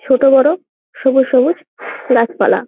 ছোট বড় সবুজ সবুজ গাছ পালা ।